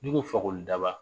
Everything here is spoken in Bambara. N'i ko Fakolidaba